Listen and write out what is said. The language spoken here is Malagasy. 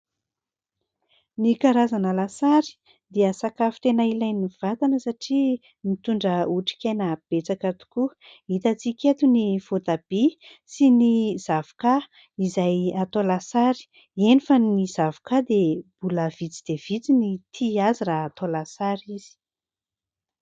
Ny karazana lasary dia sakafo tena ilain'ny vatana satria mitondra otrikaina betsaka tokoa ; hitatsika eto ny voatabia sy ny zavoka izay atao lasary eny fa ny zavoka dia mbola vitsy dia vitsy ny tia azy raha atao lasary izy.